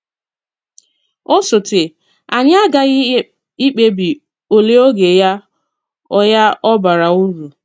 Ọ̀sọ́té, anyị aghaghị ikpebi òlè ògé ya ọ ya ọ bàrà uru.